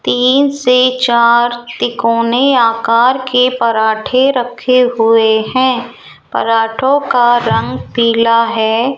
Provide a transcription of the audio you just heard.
तीन से चार तिकोनी आकर के पराठे रखे हुए हैं पराठों का रंग पीला है।